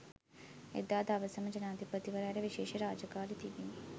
එදා දවසම ජනාධිපතිවරයාට විශේෂ රාජකාරි තිබිණි.